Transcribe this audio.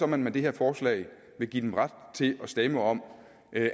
man med det her forslag vil give dem ret til at stemme om